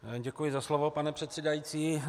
Děkuji za slovo, pane předsedající.